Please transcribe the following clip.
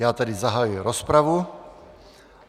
Já tedy zahajuji rozpravu.